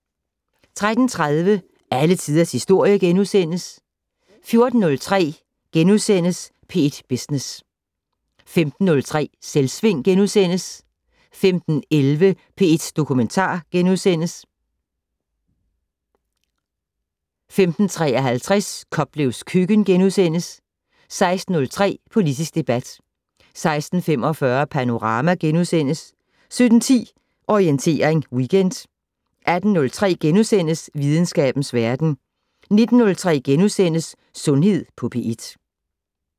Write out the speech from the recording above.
13:30: Alle Tiders Historie * 14:03: P1 Business * 15:03: Selvsving * 15:11: P1 Dokumentar * 15:53: Koplevs køkken * 16:03: Politisk debat 16:45: Panorama * 17:10: Orientering Weekend 18:03: Videnskabens Verden * 19:03: Sundhed på P1 *